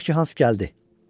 Tutaq ki, Hans gəldi.